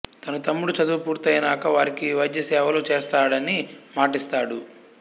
తన తమ్ముడు చదువు పూర్తైనాక వారికి వైద్యసేవలు చేస్తాడని మాటిస్తాడు